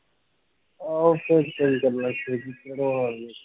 ਆਹੋ ਖਿਝ ਕੇ ਕੀ ਕਰਨਾ